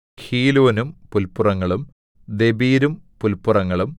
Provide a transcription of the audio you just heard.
ഹീലോനും പുല്പുറങ്ങളും ദെബീരും പുല്പുറങ്ങളും